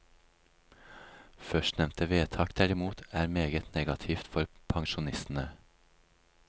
Førstnevnte vedtak derimot, er meget negativt for pensjonistene.